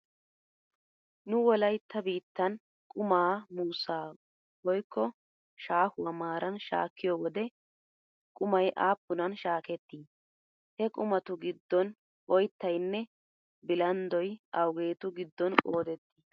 Nu wolaytta biittan qumaa muussaa woykko shaahuwa maaran shaakkiyo wode qumay aappunan shaaketti? He qumatu giddon oyttaynne bilanddoy awugeetu giddon qoodetti?